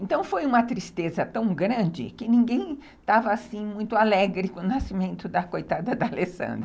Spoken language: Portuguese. Então foi uma tristeza tão grande que ninguém estava assim muito alegre com o nascimento da coitada da Alessandra.